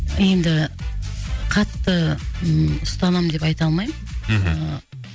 енді қатты ы ұстанамын деп айта алмаймын мхм